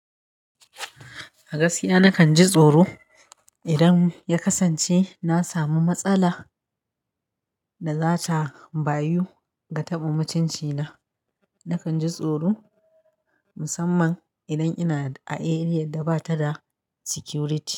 A gaskiya nakan ji tsoro idan ya kasance na samu matsala da za ta bayu ga taɓa mutunci na. Nakan ji tsoro musamman idan ina a eriyar da ba ta da security.